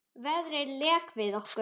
Veðrið lék við okkur.